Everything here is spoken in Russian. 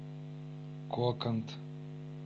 коканд